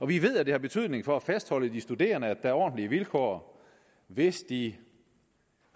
vi ved at det har betydning for at fastholde de studerende at er ordentlige vilkår hvis de